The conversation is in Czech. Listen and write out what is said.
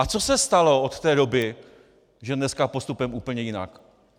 A co se stalo od té doby, že dneska postupujeme úplně jinak?